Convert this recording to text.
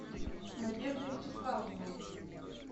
надежда вячеславовна